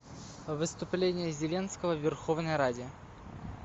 выступление зеленского в верховной раде